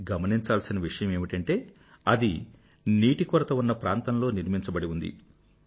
గమనించాల్సిన విషయం ఏమిటంటే అది నీటి కొరత ఉన్న ప్రాంతంలో నిర్మించబడి ఉంది